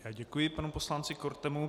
Já děkuji panu poslanci Kortemu.